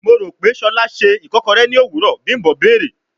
Mo ro pe Shola ṣe ikokore ni owurọ, bimbo beere